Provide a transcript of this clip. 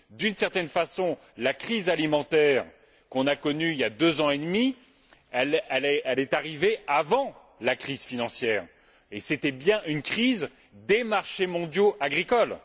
D'une certaine façon, la crise alimentaire qu'on a connue il y a deux ans et demi est arrivée avant la crise financière, et c'était bien une crise des marchés mondiaux agricoles.